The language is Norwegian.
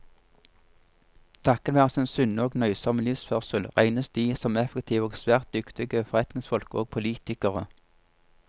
Takket være sin sunne og nøysomme livsførsel, regnes de som effektive og svært dyktige forretningsfolk og politikere.